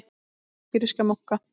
hópi grískra munka.